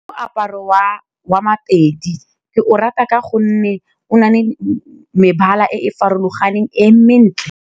Moaparo wa Mapedi ke o rata ka gonne o nale mebala e e farologaneng e mentle.